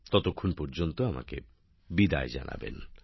ততক্ষণ পর্যন্ত বিদায় চাইছি